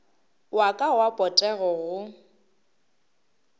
wa ka wa potego go